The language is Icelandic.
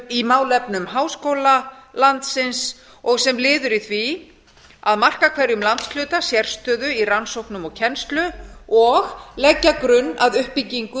í málefnum háskóla landsins og sem liður í því að marka hverjum landshluta sérstöðu í rannsóknum og kennslu og leggja grunn að uppbyggingu